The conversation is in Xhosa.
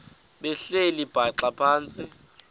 behleli bhaxa phantsi